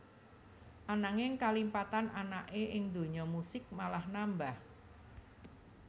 Ananging kalimpatan anaké ing donya musik malah nambah